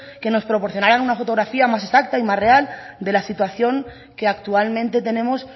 que nos proporcionaran una fotografía más exacta y más real de la situación que actualmente tenemos